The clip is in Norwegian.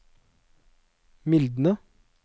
mildne